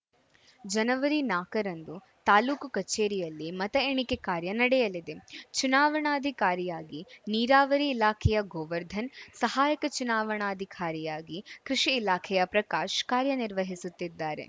ಜನವರಿ ನಾಲ್ಕರಂದು ತಾಲೂಕು ಕಚೇರಿಯಲ್ಲಿ ಮತ ಎಣಿಕೆ ಕಾರ್ಯ ನಡೆಯಲಿದೆ ಚುನಾವಣಾಧಿಕಾರಿಯಾಗಿ ನೀರಾವರಿ ಇಲಾಖೆಯ ಗೋವರ್ಧನ್‌ ಸಹಾಯಕ ಚುನಾವಣಾಧಿಕಾರಿಯಾಗಿ ಕೃಷಿ ಇಲಾಖೆಯ ಪ್ರಕಾಶ್‌ ಕಾರ್ಯನಿರ್ವಹಿಸುತ್ತಿದ್ದಾರೆ